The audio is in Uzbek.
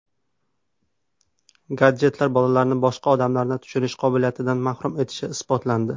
Gadjetlar bolalarni boshqa odamlarni tushunish qobiliyatidan mahrum etishi isbotlandi.